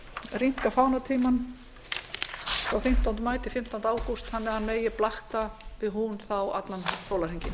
rýmka fánatímann frá fimmtánda maí til fimmtánda ágúst þannig að hann megi blakta við hún allan sólarhringinn